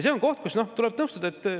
See on koht, kus tuleb nõustuda.